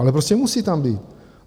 Ale prostě musí tam být.